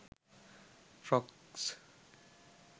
frocks